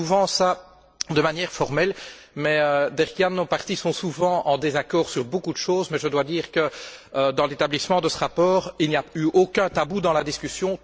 Nous faisons souvent cela de manière formelle mais, Derk Jan, nos partis sont souvent en désaccord sur beaucoup de choses mais je dois dire que, dans l'établissement de ce rapport, il n'y a eu aucun tabou dans la discussion.